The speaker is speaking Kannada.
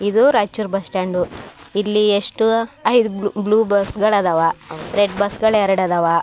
ಇದು ರೈಚೂರ್ ಬಸ್ಸ್ಟ್ಯಾಂಡ್ ಇಲ್ಲಿ ಎಷ್ಟು ಬ್ಲೂ ಬಸ್ಗಳು ಅದಾವ ರೆಡ್ ಬಸ್ಗಳು ಅದಾವ.